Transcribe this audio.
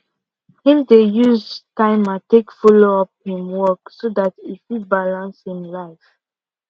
him dey use timer take follow up him work so dat e fit balance him life